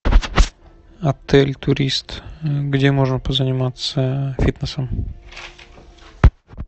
отель турист где можно позаниматься фитнесом